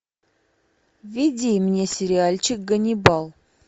введи мне сериальчик ганнибал